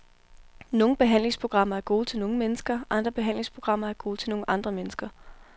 Nogle behandlingsprogrammer er gode til nogle mennesker, andre behandlingsprogrammer er gode til nogle andre mennesker.